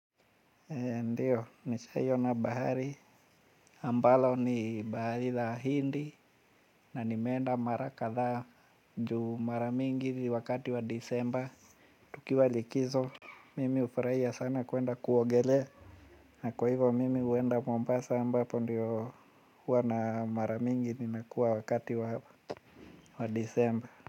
Ndiyo nishaiona bahari ambalo ni bahari la hindi na nimeenda mara kadhaa juu mara mingi ni wakati wa disemba tukiwa likizo. Mimi hufurahia sana kuenda kuogelea. Na kwa hivyo mimi huenda mombasa ambapo ndiyo huwa na mara mingi ninakuwa wakati wa disemba.